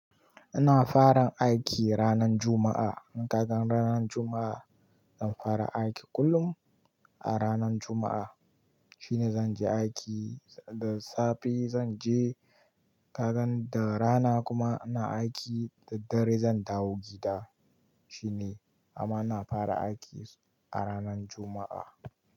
Ina fara aiki ranan Juma'a. In ka gan ranan Juma'a, zan fara aiki kullum a ranan Juma'a. Shine zan je aiki da safe zan je, ka gan da rana kuma ina aiki, da dare zan dawo gida. Shine amma ina fara aiki a ranar Juma'a.